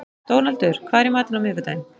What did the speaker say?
Dónaldur, hvað er í matinn á miðvikudaginn?